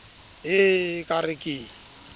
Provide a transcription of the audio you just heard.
e e ka re ke